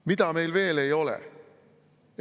Mida meil veel ei ole?